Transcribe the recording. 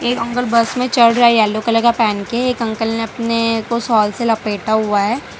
ये uncle bus मे चढ़ रहे है येलो कलर का पहेन के एक अंकल ने अपने को शॉल से लपेटा हुआ है।